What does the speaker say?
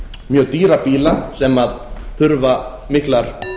mjög dýra bíla sem þurfa miklar